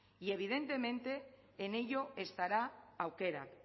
y evidentemente en ello estará aukerak